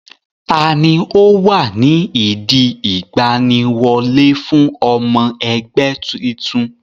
Tani ó wà ní ìdí ìgbaniwọlé fún ọmọ ẹgbẹ́ titun?